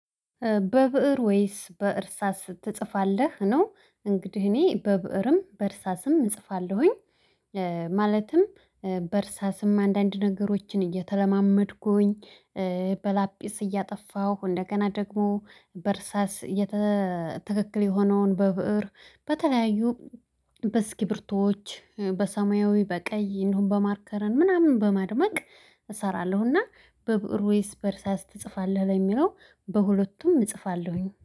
በብእር ወይስ በእርሳስ ትጽፋለህ? ነው እንግዲህ እኔ በብእርም በእርሳስም እጽፋለሁኝ። ማለትም በእርሳስም አንዳንድ ነገሮችን እየተለማመድኩኝ በላጲስ እያጠፋሁ እንደገና ደግሞ በእርሳስ የተ ትክክል የሆነውን በብእር በተለያዩ በስኪቢርቱዎች በሰማያዊ፣ በቀይ እንደውም፣ በማርከርን ምናምን በማድመቅ እሰራለሁ እና በብእር ወይስ በእርሳስ ትጽፋለህ? ለሚለው በሁለቱም እጽፋለሁኝ።